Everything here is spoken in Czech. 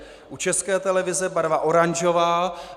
U České televize barva oranžová.